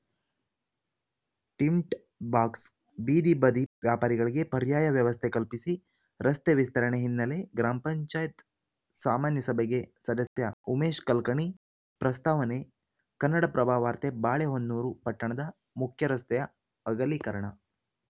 tint box ಬೀದಿಬದಿ ವ್ಯಾಪಾರಿಗಳಿಗೆ ಪರ್ಯಾಯ ವ್ಯವಸ್ಥೆ ಕಲ್ಪಿಸಿ ರಸ್ತೆ ವಿಸ್ತರಣೆ ಹಿನ್ನೆಲೆ ಗ್ರಾಮ ಪಂಚಾಯತ್ ಸಾಮಾನ್ಯ ಸಭೆಗೆ ಸದಸ್ಯ ಉಮೇಶ್‌ ಕಲ್ಕಣಿ ಪ್ರಸ್ತಾವನೆ ಕನ್ನಡಪ್ರಭ ವಾರ್ತೆ ಬಾಳೆಹೊನ್ನೂರು ಪಟ್ಟಣದ ಮುಖ್ಯರಸ್ತೆಯ ಅಗಲೀಕರಣ